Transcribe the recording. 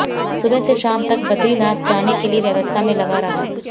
सुबह से शाम तक बदरीनाथ जाने के लिए व्यवस्था में लगा रहा